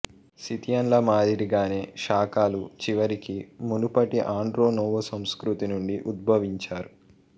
సిథియన్ల మాదిరిగానే శాకాలు చివరికి మునుపటి ఆండ్రోనోవో సంస్కృతి నుండి ఉద్భవించారు